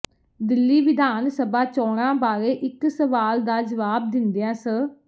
ਦਿੱਲੀ ਵਿਧਾਨ ਸਭਾ ਚੋਣਾਂ ਬਾਰੇ ਇਕ ਸਵਾਲ ਦਾ ਜਵਾਬ ਦਿੰਦਿਆਂ ਸ